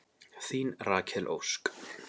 Þín Rakel Ósk.